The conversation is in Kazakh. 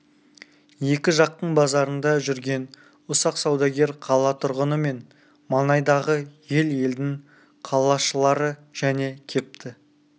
екі жақтың базарында жүрген ұсақ саудагер қала тұрғыны мен маңайдағы ел-елдің қалашылары және кепті